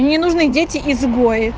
мне не нужны дети изгои